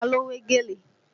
Ta ló wé gèlè?